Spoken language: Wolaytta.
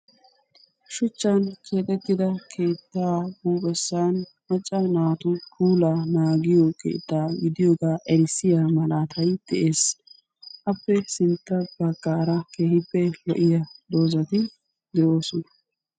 Shuchchan keexettida keettaa huphphessan macca naatu puulaa naagiyoo keettaa gidiyoogaa erissiyaa malaatay de'ees. appe sintta baggaara keehippe lo"iyaa doozati de'oosona.